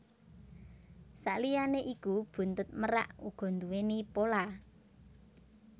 Saliyané iku buntut merak uga nduwèni pola